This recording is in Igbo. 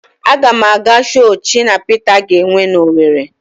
Aga m aga show Shina Pita ga-enwe n'Owere.